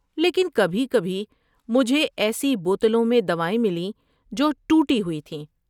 لیکن کبھی کبھی مجھے ایسی بوتلوں میں دوائیں ملیں جو ٹوٹی ہوئی تھیں۔